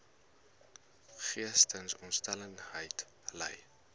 geestesongesteldheid ly